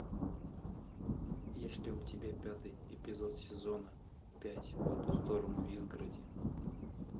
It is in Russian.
есть ли у тебя пятый эпизод сезона пять по ту сторону изгороди